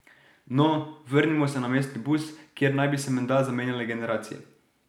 No, vrnimo se na mestni bus, kjer naj bi se menda zamenjale generacije.